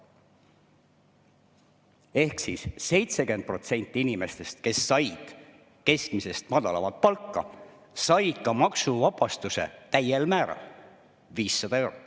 Ehk siis 70% inimestest, kes said keskmisest madalamat palka, said maksuvabastuse täiel määral: 500 eurot.